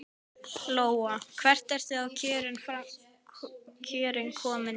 Lóa: Hvert eru þá kjörin komin hjá þér?